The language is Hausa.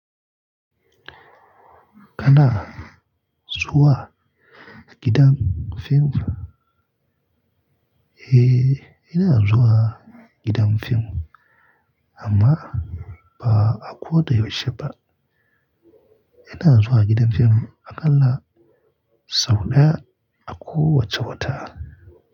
Kana zuwa gidan fim? Eh, ina zuwa gidan fim amma ba a ko da yaushe ba. Ina zuwa gidan fim akalla sau ɗaya a kowace wata.